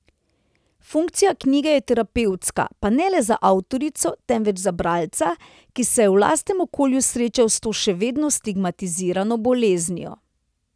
Funkcija knjige je terapevtska, pa ne le za avtorico, temveč za bralca, ki se je v lastnem okolju srečal s to še vedno stigmatizirano boleznijo.